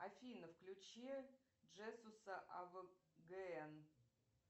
афина включи джесуса авгн